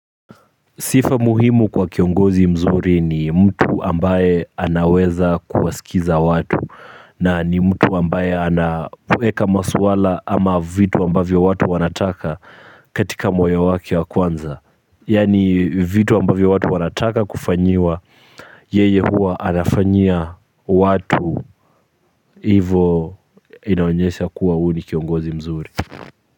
Sifa muhimu kwa kiongozi mzuri ni mtu ambaye anaweza kuwasikiza watu na ni mtu ambaye anaweka maswala ama vitu ambavyo watu wanataka katika moyo wake wa kwanza. Yaani vitu ambavyo watu wanataka kufanyiwa yeye huwa anafanyia watu hivo inaonyesha kuwa huyu ni kiongozi mzuri.